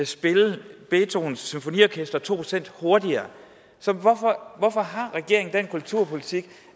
spille beethovens symfonier to procent hurtigere så hvorfor har regeringen den kulturpolitik